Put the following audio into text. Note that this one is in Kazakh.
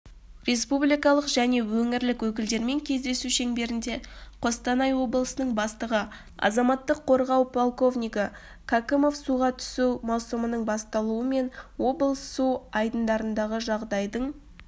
республикалық және өңірлік өкілдерімен кездесу шеңберінде қостанай облысының бастығы азаматтық қорғау полковнигі кәкімов суға түсу маусымының басталуымен облыс су айдындарындағы жағдайдың